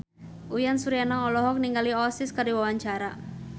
Uyan Suryana olohok ningali Oasis keur diwawancara